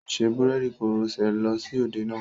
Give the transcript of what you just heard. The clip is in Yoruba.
Ó ṣe búréèdì koroṣé lọ sí òde náà.